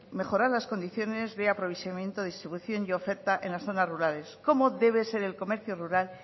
mejorar las condiciones de aprovisionamiento distribución y oferta en las zonas rurales cómo debe ser el comercio rural